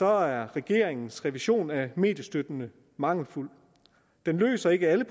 er regeringens revision af mediestøtten mangelfuld den løser ikke alle